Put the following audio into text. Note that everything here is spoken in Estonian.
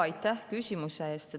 Aitäh küsimuse eest!